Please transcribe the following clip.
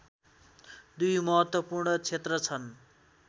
दुई महत्त्वपूर्ण क्षेत्र छन्